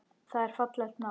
Það er fallegt nafn.